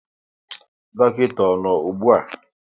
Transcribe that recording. Dọkịta ọ nọ ụgbụa?